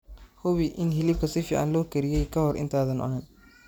Hubi in hilibka si fiican loo kariyey ka hor intaadan cunin.